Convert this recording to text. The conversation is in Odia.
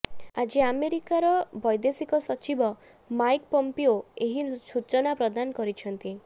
ଆଜି ଆମେରିକା ବ୘ଦେଶିକ ସଚିବ ମାଇକ୍ ପମ୍ପିଓ ଏହି ସୂଚନା ପ୍ରଦାନ କରିଛନ୍ତି